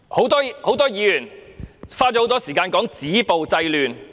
多位議員花了長時間談"止暴制亂"。